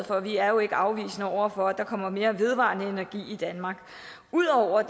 for vi er jo ikke afvisende over for at der kommer mere vedvarende energi i danmark ud over at